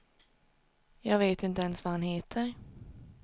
Jag vet inte ens vad han heter.